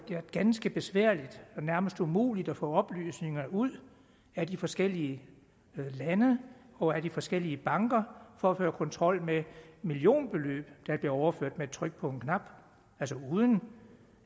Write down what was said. været ganske besværligt og nærmest umuligt at få oplysningerne ud af de forskellige lande og af de forskellige banker for at føre kontrol med millionbeløb der bliver overført med et tryk på en knap altså uden